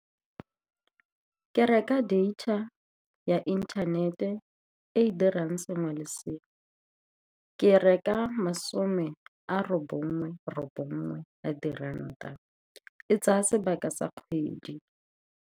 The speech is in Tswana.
Ke reka data ya inthanete e e dirang sengwe le sengwe. Ke e reka masome a robongwe robongwe a diranta, e tsaya sebaka sa kgwedi.